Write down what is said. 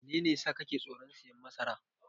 Menene yasa kake tsoron siyan masara?